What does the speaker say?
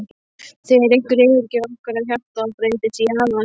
þegar einhver yfirgefur okkur og hjartað breytist í harðan stein.